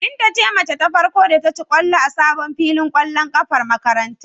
Binta ce mace ta farko da ta ci ƙwallo a sabon filin ƙwallon ƙafar makarantar.